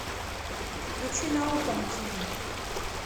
включи наука на тв